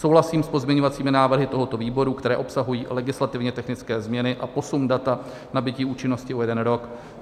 Souhlasím s pozměňovacími návrhy tohoto výboru, které obsahují legislativně technické změny a posun data nabytí účinnosti o jeden rok.